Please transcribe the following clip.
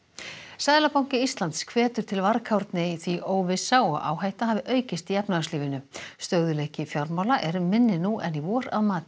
seðlabanki Íslands hvetur til varkárni því óvissa og áhætta hafi aukist í efnahagslífinu stöðugleiki fjármála er minni nú en í vor að mati